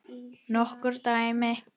Nokkur dæmi.